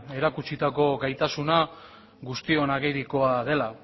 erakutsitako gaitasuna guztiona agirikoa dela